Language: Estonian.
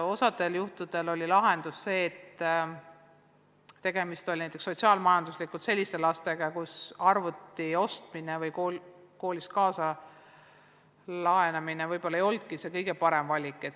Osal juhtudel oli aga tegemist näiteks sotsiaal-majanduslikult selliste lastega, kelle puhul arvuti ostmine või koolist kaasa laenamine ei olnudki võib-olla kõige parem valik.